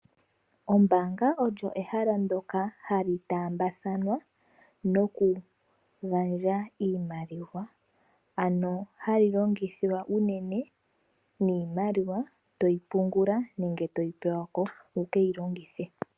Ombanaga olyo ehala ndyoka hali taambathanwa nokugandja iimaliwa, ano hali longithwa unene niimaliwa to yi pungula nenge toyi pewa ko wu ke yi longithe.